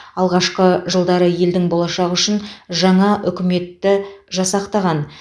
алғашқы жылдары елдің болашағы үшін жаңа үкіметті жасақтаған